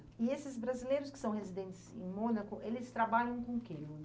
E esses brasileiros que são residentes em Mônaco, eles trabalham com o quê?